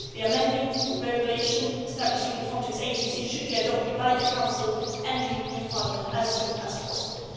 The amended regulation establishing the Frontex agency should be adopted by the Council and the European Parliament as soon as possible.